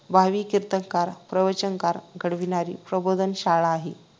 भावी कीर्तनकार प्रवचनकार घडविणारी प्रबोधन शाळा आहे